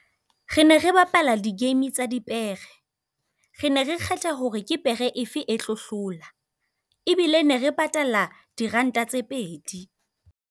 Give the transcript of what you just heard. Re ne re bapala di-game-e tsa dipere. Re ne re kgetha hore ke pere efe e tlo hlola, ebile ne re patala diranta tse pedi.